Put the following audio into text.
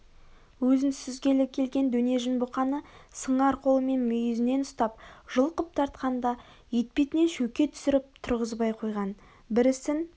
өзін сүзгелі келген дөнежін бұқаны сыңар қолымен мүйізінен ұстап жұлқып тартқанда етпетінен шөке түсіріп тұрғызбай қойған бір ісін